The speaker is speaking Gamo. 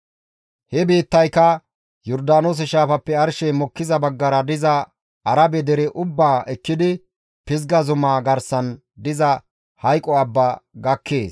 He biittayka Yordaanoose shaafappe arshey mokkiza baggara diza Arabe dere ubbaa ekkidi Pizga zumaa garsan diza hayqo abba gakkees.